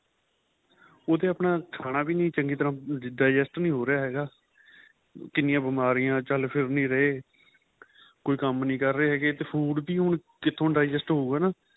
ਉਹ ਤੇ ਆਪਣਾ ਖਾਣਾ ਵੀ ਨਹੀਂ ਚੰਗੀ ਤਰ੍ਹਾਂ digest ਨਹੀਂ ਹੋ ਰਹਿਆ ਹੈਗਾ ਕਿੰਨੀਆਂ ਬਿਮਾਰੀਆਂ ਚੱਲ ਫ਼ਿਰ ਨਹੀਂ ਰਹੇ ਕੋਈ ਕੰਮ ਨਹੀਂ ਕਰ ਰਹੇ ਹੈਗੇ ਤੇ food ਵੀ ਹੁਣ ਕਿਥੋ digest ਹੋਊਗਾ